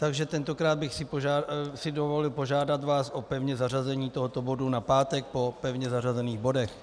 Takže tentokrát bych si dovolil požádat vás o pevné zařazení tohoto bodu na pátek po pevně zařazených bodech.